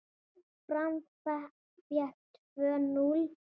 Fram fékk tvö núll!